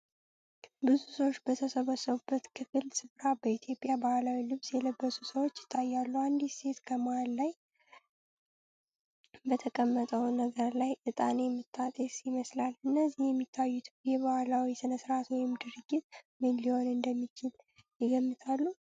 ብዙ ሰዎች በተሰበሰቡበት ክፍት ስፍራ በኢትዮጵያ ባህላዊ ልብስ የለበሱ ሰዎች ይታያሉ። አንዲት ሴት ከመሃል ላይ በተቀመጠው ነገር ላይ እጣን የምታጤስ ይመስላል። እዚህ የሚታየው የባህል ስነስርዓት ወይም ድርጊት ምን ሊሆን እንደሚችል ይገምታሉ?